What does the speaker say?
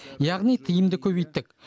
яғни тиымды көбейттік